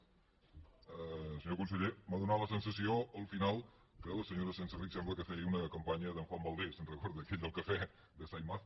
senyor conseller m’ha donat la sensació al final que la senyora senserrich sembla que feia una campanya d’en juan valdés se’n recorda aquell del cafè de saimaza